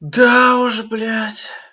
да уж блять